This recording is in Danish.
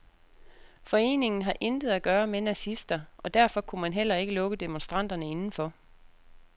Foreningen har intet at gøre med nazister, og derfor kunne man heller ikke lukke demonstranterne indenfor.